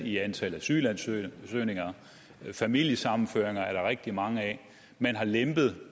i antal asylansøgninger familiesammenføringer er der rigtig mange af og man har lempet